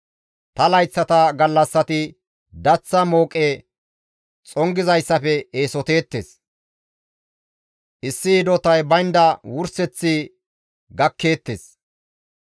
Ta layththata gallassati daththa mooqe xongeththafe eesoteettes; issi hidotay baynda wurseth gakkeettes.